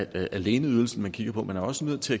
alene ydelsen man kigger på man er også nødt til